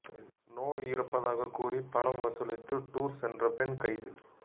நோய் இருப்பதாகக் கூறி பணம் வசூலித்து டூர் சென்ற பெண் கைது